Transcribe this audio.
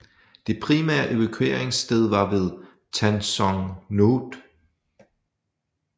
Det primære evakueringssted var ved Tan Son Nhut